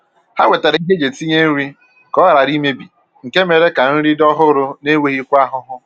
Ha wetara ihe eji etinye nri ka ọ ghara imebi nke mere ka nri dị ọhụrụ na enweghịkwa ahụhụ